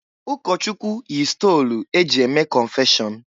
Ụkọchụkwụ yi stolu e ji eme kọnfeshọn.